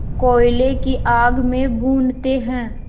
कोयले की आग में भूनते हैं